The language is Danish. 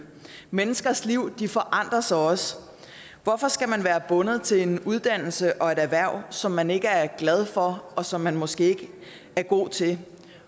menneskers liv forandres også så hvorfor skal man være bundet til en uddannelse og et erhverv som man ikke er glad for og som man måske ikke er god til